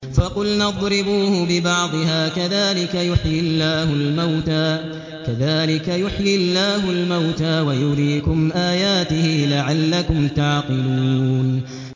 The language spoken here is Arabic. فَقُلْنَا اضْرِبُوهُ بِبَعْضِهَا ۚ كَذَٰلِكَ يُحْيِي اللَّهُ الْمَوْتَىٰ وَيُرِيكُمْ آيَاتِهِ لَعَلَّكُمْ تَعْقِلُونَ